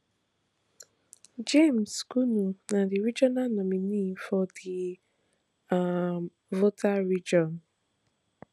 james gunu na di regional nominee for di um volta region